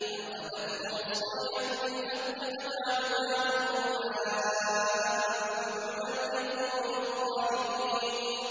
فَأَخَذَتْهُمُ الصَّيْحَةُ بِالْحَقِّ فَجَعَلْنَاهُمْ غُثَاءً ۚ فَبُعْدًا لِّلْقَوْمِ الظَّالِمِينَ